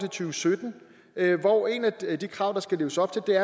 og sytten hvor et af de krav der skal leves op til